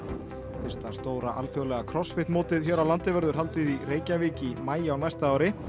fyrsta stóra alþjóðlega mótið hér á landi verður haldið í Reykjavík í maí á næsta ári